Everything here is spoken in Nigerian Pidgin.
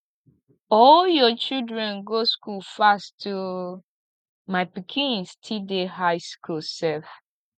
all your children go school fast oo my pikin still dey high school sef